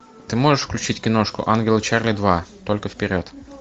ты можешь включить киношку ангелы чарли два только вперед